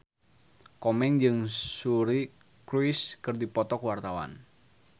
Komeng jeung Suri Cruise keur dipoto ku wartawan